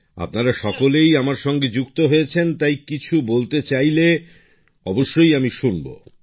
আপনারা সকলেই আমার সঙ্গে এই মুহূর্তে রয়েছেন তাই কিছু বলতে চাইলে অবশ্যই আমি শুনবো